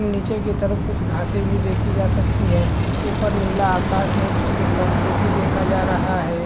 निचे के तरफ कुछ घासे भी देखी जा सकती है ऊपर नीला आकाश है जिसपे सन को भी देखा जा रहा है।